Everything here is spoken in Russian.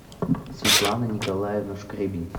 светлана николаевна шкребень